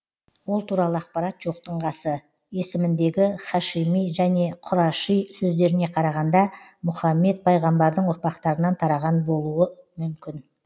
ол туралы ақпарат жоқтың қасы есіміндегі һашими және құраши сөздеріне қарағанда мұхаммед пайғамбардың ұрпақтарынан тараған болу мүмкін